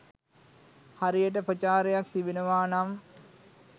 හරියට ප්‍රචාරයක් තිබෙනවා නම්